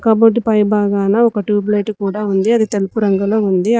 Cupboard పై భాగాన ఒక ట్యూబ్ లైట్ కూడా ఉంది అది తెలుపు రంగులో ఉంది.